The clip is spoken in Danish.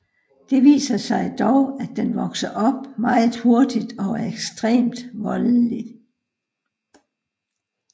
Det viser sig dog at den vokser op meget hurtigt og er ekstremt voldelig